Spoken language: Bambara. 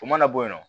O mana bɔ yen nɔ